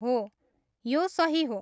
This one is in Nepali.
हो, यो सही हो।